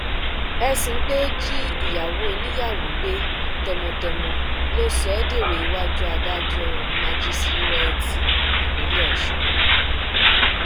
ẹsùn pé ó jí ìyàwó oníyàwó gbé tọmọtọmọ ló sọ ọ dèrò iwájú adájọ májíṣẹrẹẹtì ìpínlẹ ọṣun náà